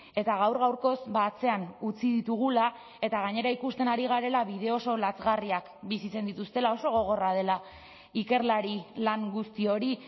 eta gaur gaurkoz atzean utzi ditugula eta gainera ikusten ari garela bide oso lazgarriak bizitzen dituztela oso gogorra dela ikerlari lan guzti hori